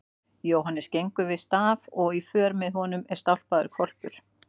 Jóhannes gengur við staf og í för með honum er stálpaður hvolpur.